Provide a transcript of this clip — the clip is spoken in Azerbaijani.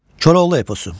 Koroğlu eposu.